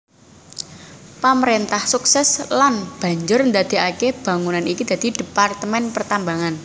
Pamrentah sukses lan banjur ndadekake bangunan iki dadi Departemen Pertambangan